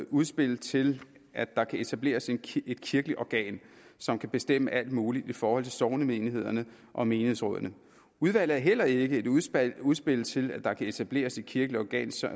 udspil til at der kan etableres et kirkeligt organ som kan bestemme alt muligt i forhold til sognemenighederne og menighedsrådene udvalget er heller ikke et udspil udspil til at der kan etableres et kirkeligt organ som